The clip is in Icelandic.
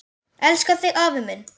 Elska þig afi minn.